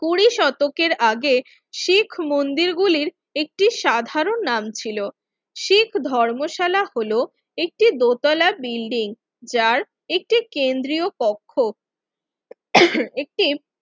কুঁড়ি শতকের আগে শিখ মন্দির গুলির একটি সাধারণ নাম ছিল শিখ ধর্মশালা হলো একটি দোতলা বিল্ডিং যার একটি কেন্দ্রীয় কক্ষ একটি